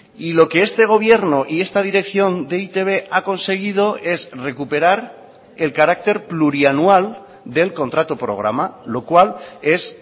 y lo que este gobierno y esta dirección de e i te be ha conseguido es recuperar el carácter plurianual del contrato programa lo cual es